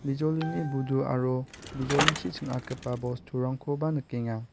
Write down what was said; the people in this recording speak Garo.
bijolini budu aro bijolichi ching·atgipa bosturangkoba nikenga.